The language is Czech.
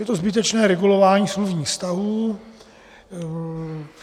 Je to zbytečné regulování smluvních vztahů.